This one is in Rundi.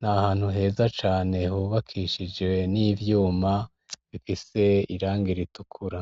n’ahantu heza cane hubakishije n'ivyuma bifise irangi ritukura.